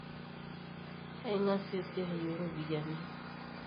aingasie esiai oropiani